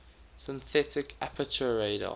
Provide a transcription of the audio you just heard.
synthetic aperture radar